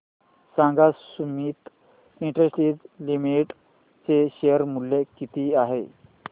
सांगा Sumeet industries limited चे share मूल्य किती आहे